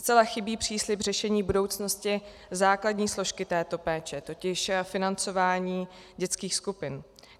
Zcela chybí příslib řešení budoucnosti základní složky této péče, totiž financování dětských skupin.